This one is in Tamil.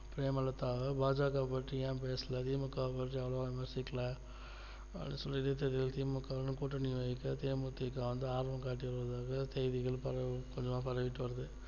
பிரேமலதாவை பா ஜ க பத்தி ஏன் பேசல தி மு க பிரச்சாரம் விமர்சிக்கல அப்படின்னு சொல்லிட்டு தி மு க கூட்டணி தே மு தி க வந்து ஆதரவு காட்டியுள்ளதாக செய்திகள் பரவிட்டு வருது